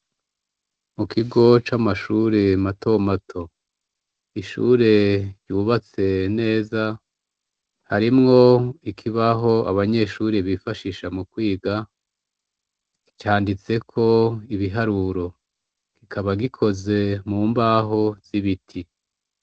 Mu kigo c'amashure matomato. Ishure yubatse neza, harimwo ikibaho abanyeshure bifashisha mu kwiga, canditseko ibiharuro, kikaba gikoze mu mbaho z'ibiti.